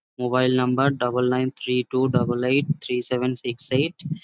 Mobile number double nine three two double eight three seven six eight.